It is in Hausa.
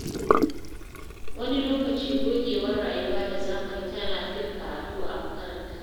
Wani lokaci, gogewar rayuwa da zamani tana fin karatu a makaranta.